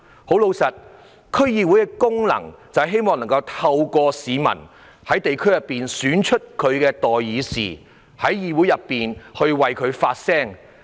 事實上，區議會的功能就是讓市民在地區選出代表他們的代議士，進入議會為他們發聲。